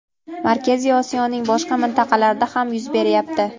Markaziy Osiyoning boshqa mintaqalarida ham yuz beryapti.